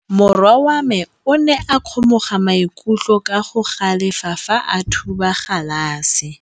Morwa wa me o ne a kgomoga maikutlo ka go galefa fa a thuba galase.